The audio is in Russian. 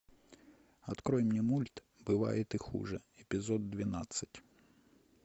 открой мне мульт бывает и хуже эпизод двенадцать